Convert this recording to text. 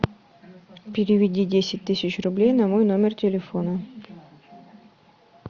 переведи десять тысяч рублей на мой номер телефона